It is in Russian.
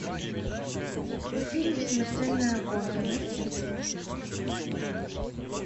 фильм смертельная гонка найти